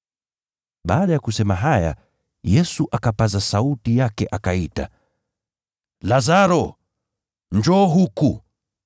Baada ya kusema haya, Yesu akapaza sauti yake akaita, “Lazaro, njoo huku!”